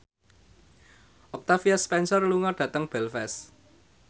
Octavia Spencer lunga dhateng Belfast